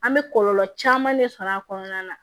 An bɛ kɔlɔlɔ caman ne sɔrɔ a kɔnɔna na